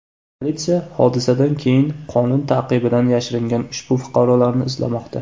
Politsiya hodisadan keyin qonun ta’qibidan yashiringan ushbu fuqarolarni izlamoqda.